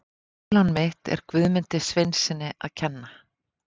Ólán mitt er Guðmundi Sveinssyni að kenna.